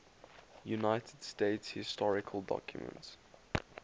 united states historical documents